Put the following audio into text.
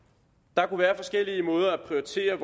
der kunne være forskellige måder at prioritere